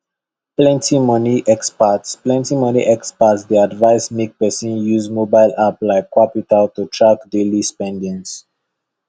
plenty money experts plenty money experts dey advise make person use mobile app like qapital to track daily spendings